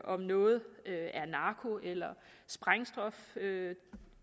om noget er narko eller sprængstof